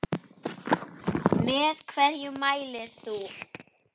Með hverju mælir þú?